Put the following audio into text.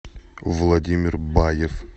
владимир баев